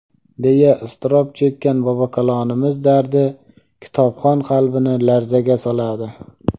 deya iztirob chekkan ‎bobokalonimiz dardi kitobxon qalbini larzaga soladi.